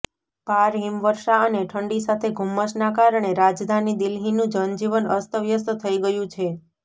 ભાર હિમવર્ષા અને ઠંડી સાથે ધૂમ્મસના કારણે રાજધાની દિલ્હીનું જનજીવન અસ્તવ્યસ્ત થઇ ગયું છે